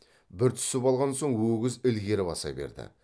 бір түсіп алған соң өгіз ілгері баса берді